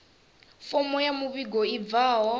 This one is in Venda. fomo ya muvhigo i bvaho